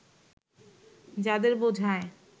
যাঁদের বোঝায়